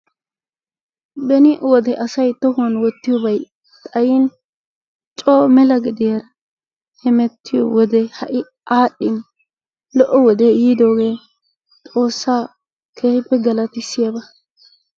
Beni wode asay tohuwan wottiyoobay xayyin mela coo mela gediyaara hemmetiyo wode aadhdhin lo''o wode yiidooge ha'i xoossa keehippe galatissiyaabaa